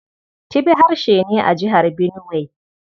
Tibi harshe ne a Jihar Benuwai.